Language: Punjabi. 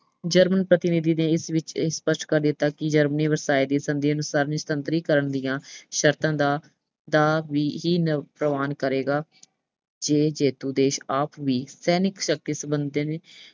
German ਪ੍ਰਤੀਨਿਧੀ ਨੇ ਇਸ ਵਿੱਚ ਇਹ ਸਪੱਸ਼ਟ ਕਰ ਦਿੱਤਾ ਕਿ Germany ਵਰਸਾਏ ਦੀ ਸੰਧੀ ਅਨੁਸਾਰ ਨਿਸ਼ਸਤਰੀਕਰਨ ਦੀਆਂ ਸ਼ਰਤਾਂ ਦਾ, ਦਾ ਵੀ, ਹੀ ਅਹ ਪ੍ਰਵਾਨ ਕਰੇਗਾ। ਜੇ ਜੇਤੂ ਦੇਸ਼ ਆਪ ਵੀ ਸੈਨਿਕ ਸ਼ਕਤੀ ਸਬੰਧੀ